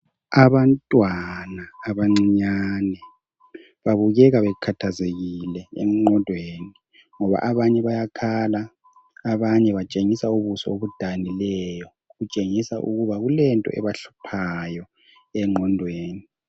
Abantwana abancinyane babukeka bekhathazekile engqondweni ngoba abanye bayakhala, abanye batshengisa ubuso obudanileyo kutshengisa ukuba kulento ebahluphayo engqondweni.